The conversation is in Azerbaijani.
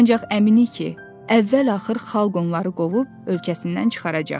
Ancaq əminik ki, əvvəl-axır xalq onları qovub ölkəsindən çıxaracaq.